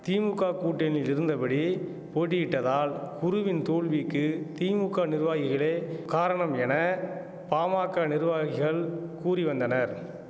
திமுக கூட்டணியிலிருந்தபடி போட்டியிட்டதால் குருவின் தோல்விக்கு திமுக நிர்வாகிகளே காரணம் என பாமாக்க நிர்வாகிகள் கூறி வந்தனர்